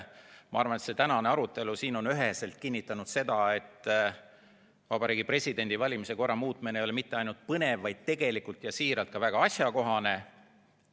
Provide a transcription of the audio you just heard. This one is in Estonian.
Ma arvan, et tänane arutelu on üheselt kinnitanud seda, et Vabariigi Presidendi valimise korra muutmine ei ole mitte ainult põnev, vaid tegelikult ja siiralt ka väga asjakohane.